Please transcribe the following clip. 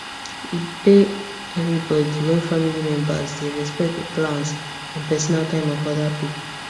e pay everybody when family members dey respect the plans and personal time of other people